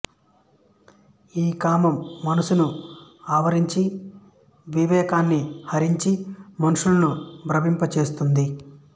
ఈ కామం మనస్సును ఆవరించి వివేకాన్ని హరించి మనుషులను భ్రమింప చేస్తోంది